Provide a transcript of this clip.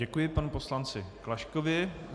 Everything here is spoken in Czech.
Děkuji panu poslanci Klaškovi.